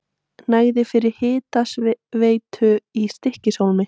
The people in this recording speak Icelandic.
Nægði fyrir hitaveitu í Stykkishólmi.